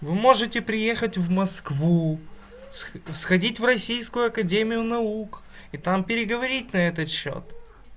вы можете приехать в москву сходить в российскую академию наук и там переговорить на этот счёт